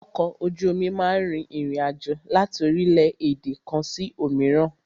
Ọkọ̀ ojú omi máà rìn ìrin àjò láti orílẹ̀-èdè kan sí òmíràn.